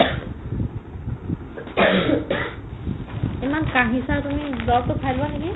ইমান কাঁহিচা তুমি দৰৱটো খাই লোৱা নেকি ?